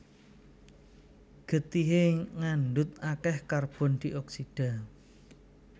Getihé ngandhut akèh karbon dioksida